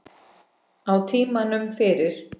Á tímanum fyrir